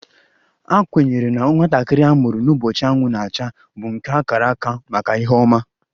A kwenyere na nwatakịrị a mụrụ n'ụbọchị anwụ na-acha bụ nke a kara aka maka ihe ọma